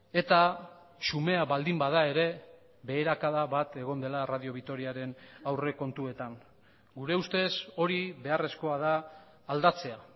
eta xumea baldin bada ere beherakada bat egon dela radio vitoriaren aurrekontuetan gure ustez hori beharrezkoa da aldatzea